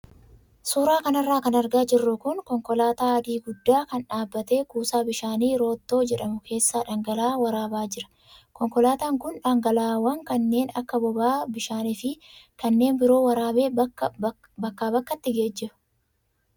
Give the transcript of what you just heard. Suuraa kanarra kan argaa jirru kun konkolaataa adii guddaa kan dhaabbatee kuusaa bishaanii roottoo jedhamu keessaa dhangala'aa waraabaa jira. Konkolaataan kun dhangalaa'aawwan kanneen akka boba'aa, bishaanii fi kanneen biroo waraabee bakkaa bakkatti geejjiba.